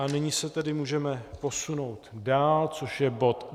A nyní se tedy můžeme posunout dál, což je bod